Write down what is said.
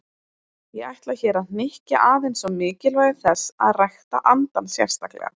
Ég ætla hér að hnykkja aðeins á mikilvægi þess að rækta andann sérstaklega.